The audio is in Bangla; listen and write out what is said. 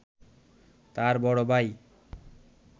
তাঁর বড় ভাই